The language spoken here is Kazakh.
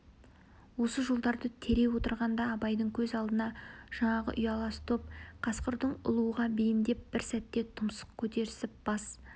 осы жолдарды тере отырғанда абайдың көз алдына жаңағы ұялас топ қасқырдың ұлуға бейімдеп бір сәтте тұмсық көтерісіп бас